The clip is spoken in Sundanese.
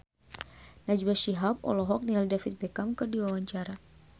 Najwa Shihab olohok ningali David Beckham keur diwawancara